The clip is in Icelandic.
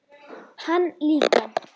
Hann líka.